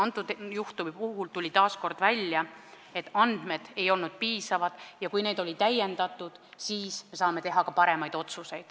Selle juhtumi puhul tuli taas kord välja, et andmed ei olnud piisavad ja kui neid oli täiendatud, siis me saime teha parema otsuse.